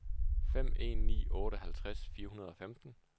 fem en ni otte halvtreds fire hundrede og femten